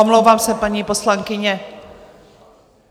Omlouvám se, paní poslankyně.